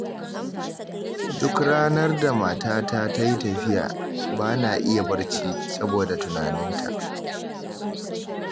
Duk ranar da matata ta yi tafiya, ba na iya barci, saboda da tunaninta